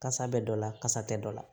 Kasa bɛ dɔ la kasa tɛ dɔ la